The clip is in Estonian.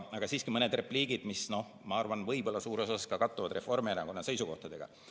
Aga siiski mõned repliigid, mis, ma arvan, võib-olla suures osas kattuvad Reformierakonna seisukohtadega.